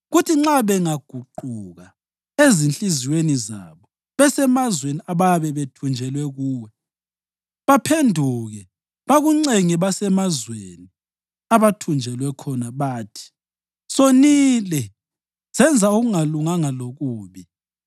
kuthi nxa bengaguquka ezinhliziyweni zabo besemazweni abayabe bethunjelwe kuwo, baphenduke bakuncenge besemazweni abathunjelwa khona bathi, ‘Sonile, senza okungalunganga lokubi,’